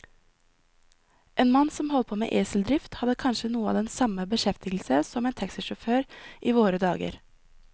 En mann som holdt på med eseldrift, hadde kanskje noe av den samme beskjeftigelse som en taxisjåfør i våre dager.